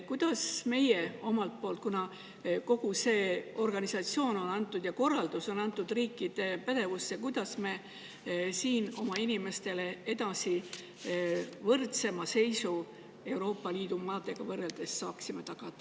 Kuidas saaksime meie omalt poolt tagada oma inimestele sellise võrdsema seisu võrreldes Euroopa Liidu riikidega, kuna kogu see organisatsioon ja selle korraldus on antud riikide pädevusse?